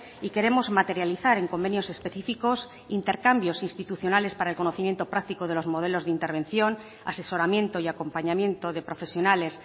y queremos materializar en convenios específicos intercambios institucionales para el conocimiento práctico de los modelos de intervención asesoramiento y acompañamiento de profesionales